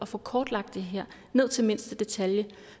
få kortlagt det her ned til mindste detalje